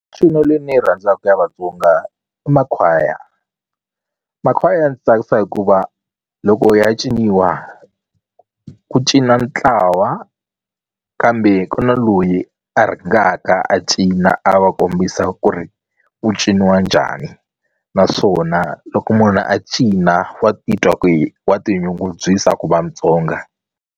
Mincino leyi ni yi rhandzaka ku ya Vatsonga i makhwaya. Makhwaya ndzi tsakisa hikuva loko ya ciniwa ku cina ntlawa kambe ku na loyi a rhangaka a cina a va kombisa ku ri ku ciniwa njhani naswona loko munhu a cina wa titwa ku hi wa tinyungubyisa ku Mutsonga.